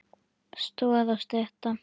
Stoð og stytta.